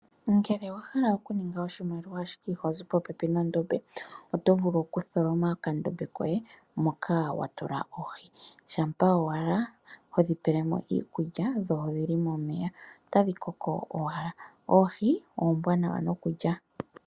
Ngele owa hala okuninga oshimaliwa ashike ihozi popepi nondombe oto vulu okutholoma okandombe koye moka wa tula mo oohi. Shampa owala hodhi pele mo iikulya dho odhi li momeya, otadhi koko owala. Oohi oombwanawa nokulya.